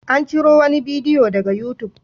An ciro wani bidiyo daga youtube.